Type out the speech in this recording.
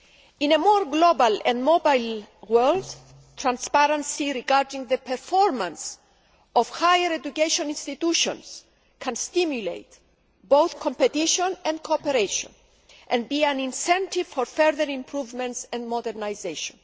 In a more global and mobile world, transparency regarding the performance of higher education institutions can stimulate both competition and cooperation, and be an incentive for further improvements and modernisation.